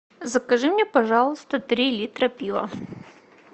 закажи мне пожалуйста три литра пива